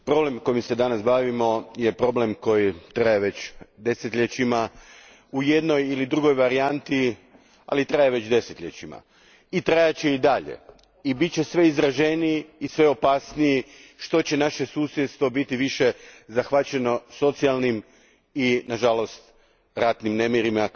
Gospođo predsjednice, problem kojim se danas bavimo je problem koji traje već desetljećima, u jednoj ili drugoj varijanti, ali traje već desetljećima. Trajat će i dalje, i bit će sve izraženiji i sve opasniji što će naše susjedstvo biti više zahvaćeno socijalnim i, nažalost, ratnim nemirima,